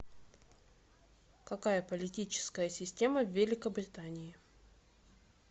какая политическая система в великобритании